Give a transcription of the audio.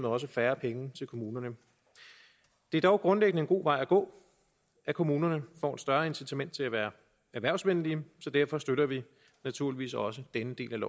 også færre penge til kommunerne det er dog grundlæggende en god vej at gå at kommunerne får et større incitament til at være erhvervsvenlige så derfor støtter vi naturligvis også denne del af